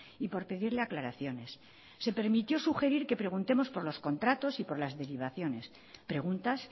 y por pedirle aclaraciones se permitió sugerir que preguntemos por los contratos y por las derivaciones preguntas